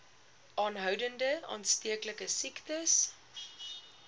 aanhoudend aansteeklike siektes